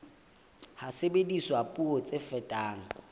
ha sebediswa puo tse fetang